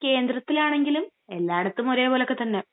..കേന്ദ്രത്തിലാണെങ്കിലും..എല്ലായിടത്തും ഒരേപോലൊക്കെ തന്ന.